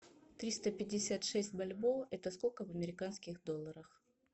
триста пятьдесят шесть бальбоа это сколько в американских долларах